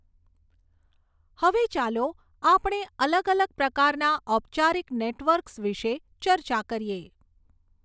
હવે ચાલો આપણે અલગ અલગ પ્રકારના ઔપચારિક નેટવર્ક્સ વિષે ચર્ચા કરીએ.